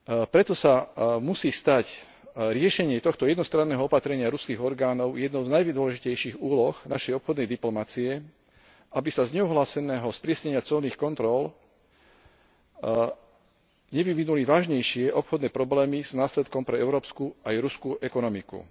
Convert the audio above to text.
Preto sa musí stať riešenie tohto jednostranného opatrenia ruských orgánov jednou z najdôležitejších úloh našej obchodnej diplomacie, aby sa z neohláseného sprísnenia colných kontrol nevyvinuli vážnejšie obchodné problémy s následkom pre európsku aj ruskú ekonomiku.